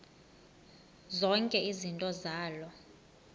zonke izinto zaloo